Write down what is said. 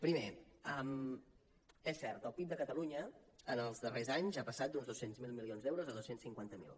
primer és cert el pib de catalunya en els darrers anys ha passat d’uns dos cents miler milions d’euros a dos cents i cinquanta miler